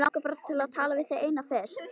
Mig langar bara til að tala við þig eina fyrst.